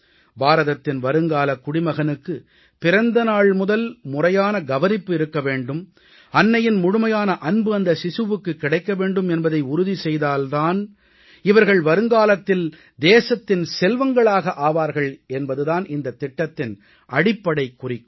பாரதத்தின் வருங்காலக் குடிமகனுக்கு பிறந்த நாள்முதல் முறையான கவனிப்பு இருக்க வேண்டும் அன்னையின் முழுமையான அன்பு அந்தச் சிசுவுக்குக் கிடைக்க வேண்டும் என்பதை உறுதி செய்தால் தான் இவர்கள் வருங்காலத்தில் தேசத்தின் செல்வங்களாக ஆவார்கள் என்பது தான் இந்தத் திட்டத்தின் அடிப்படை குறிக்கோள்